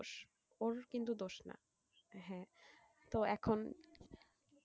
ওর কিন্তু দোষ না হ্যাঁ তো এখন,